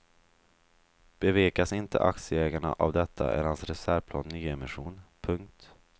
Bevekas inte aktieägarna av detta är hans reservplan nyemission. punkt